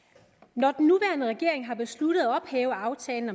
når den nuværende regering har besluttet at ophæve aftalen